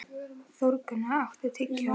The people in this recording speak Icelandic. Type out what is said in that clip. Þórgunna, áttu tyggjó?